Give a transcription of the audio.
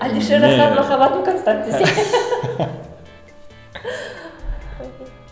әлішер рахат махаббатым констант десей